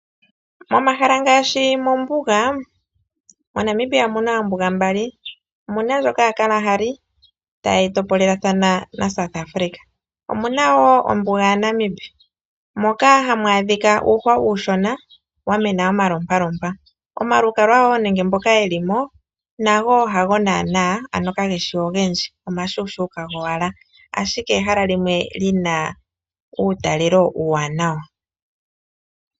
Omahala ngaashi mombuga, moNamibia omu na oombuga mbali. Omu na ndjoka yaKalahari tayi topolelathana naSouth Africa. Omu na wo ombuga yaNamib, moka hamu adhika uuhwa uushona wa mena omalompalompa. Omalukalwa wo nenge mboka ye li mo, nago wo hago naanaa, ano kage shi ogendji, omashuushuuka gowala, ashike ehala limwe li na uutalelo uuwanawa.